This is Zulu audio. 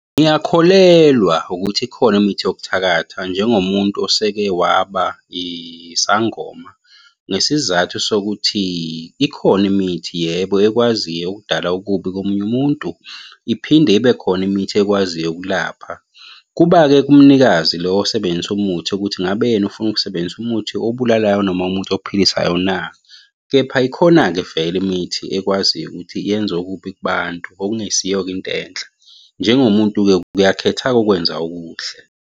Ngiyakholelwa ukuthi ikhona imithi yokuthakatha njengomuntu oseke waba isangoma ngesizathu sokuthi ikhona imithi, yebo, ekwaziyo ukudala okubi komunye umuntu. Iphinde ibe khona imithi ekwaziyo ukulapha. Kuba-ke kumnikazi lo osebenzisa umuthi ukuthi ngabe yena ufuna ukusebenzisa umuthi obulalayo noma umuthi ophilisayo na, kepha ikhona-ke vele imithi ekwaziyo ukuthi yenze okubi kubantu, okungesiyo into enhle. Njengomuntu-ke uyakhetha-ke ukwenza okuhle.